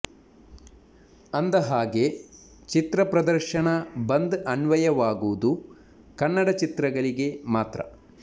ಅಂದಹಾಗೆ ಚಿತ್ರ ಪ್ರದರ್ಶನ ಬಂದ್ ಅನ್ವಯವಾಗುವುದು ಕನ್ನಡ ಚಿತ್ರಗಳಿಗೆ ಮಾತ್ರ